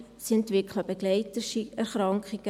Sie entwickeln Begleiterkrankungen.